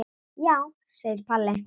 Já, segir Palli.